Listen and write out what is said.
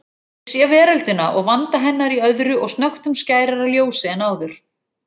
Ég sé veröldina og vanda hennar í öðru og snöggtum skærara ljósi en áður.